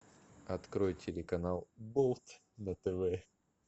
открой телеканал болт на тв